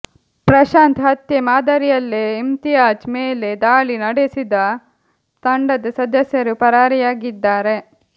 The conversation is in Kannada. ಪ್ರಶಾಂತ್ ಹತ್ಯೆ ಮಾದರಿಯಲ್ಲೇ ಇಮ್ತಿಯಾಜ್ ಮೇಲೆ ದಾಳಿ ನಡೆಸಿದ ತಂಡದ ಸದಸ್ಯರು ಪರಾರಿಯಾಗಿದ್ದಾರೆ